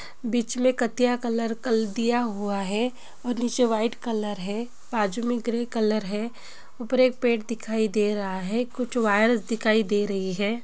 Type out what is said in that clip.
बीच मैं कतिया कल कलर दिया हुआ है और नीचे वाइट कलर है बाजू मैं ग्रे कलर है ऊपर एक पेड़ दिखाई दे रहा है कुछ वायरस दिखाई दे रही हैं।